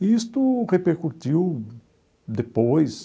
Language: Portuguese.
E isto repercutiu depois